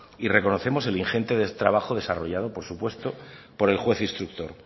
y reconocemos el ingente trabajo desarrollado por supuesto por el juez instructor